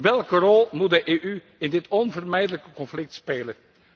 Welke rol moet de EU in dit onvermijdelijke conflict spelen?